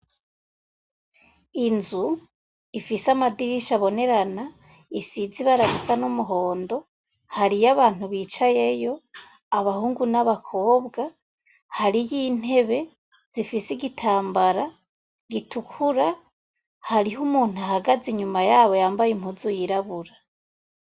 Inzu ifise amadirisha abonerana isizi ibara risa n'umuhondo hariyo abantu bicayeyo abahungu n'abakobwa hari y'intebe zifise igitambara gitukura hariho umuntu ahagaze inyuma yabo yambaye impuzu yirabura.